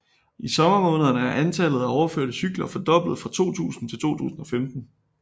I sommermånederne er antallet af overførte cykler fordoblet fra 2000 til 2015